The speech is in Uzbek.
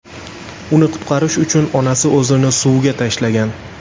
Uni qutqarish uchun onasi o‘zini suvga tashlagan.